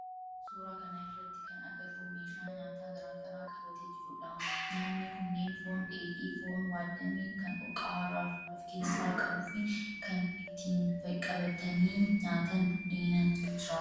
Suuraa kana irratti kan agarru meeshaa nyaata garaa garaa qabatee jiru dha. Nyaanni kunneen foon dheedhii, foon waaddame kan qaaraa of keessaa qabu fi kan ittiin qabatanii nyaatan buddeen jira.